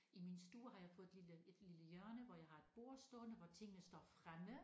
I min stue har jeg fået et lille et lille hjørne hvor jeg har et bord stående hvor tingene står fremme